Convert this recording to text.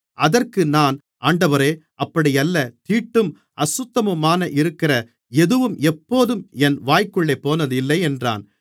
அதற்கு நான் ஆண்டவரே அப்படியல்ல தீட்டும் அசுத்தமுமாக இருக்கிற எதுவும் எப்போதும் என் வாய்க்குள்ளே போனதில்லை என்றேன்